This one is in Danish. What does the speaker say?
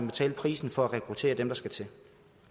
betale prisen for at rekruttere dem der skal til